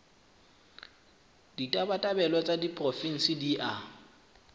ditabatabelo tsa diporofensi di a